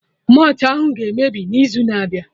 Malt ahụ ga-emebi n'izu na-abịa